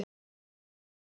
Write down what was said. Thomas spurði um Stefán.